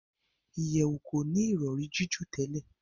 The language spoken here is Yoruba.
ìyèwù koni Ìrọ̀rí jiju tèlé.